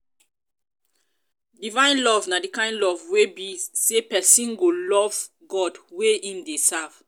divine love na di kind love wey be say persin go love god wey im de serve